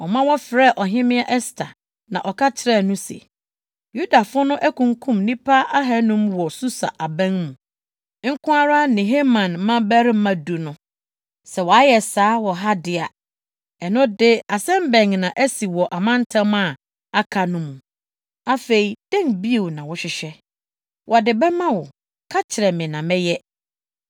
ɔma wɔfrɛɛ Ɔhemmea Ɛster, na ɔka kyerɛɛ no se, “Yudafo no akunkum nnipa ahannum wɔ Susa aban mu nko ara ne Haman mmabarima du no. Sɛ wɔayɛ saa wɔ ha de a, ɛno de asɛm bɛn na asi wɔ amantam a aka no mu? Afei, dɛn bio na wohwehwɛ? Wɔde bɛma wo; ka kyerɛ me na mɛyɛ.”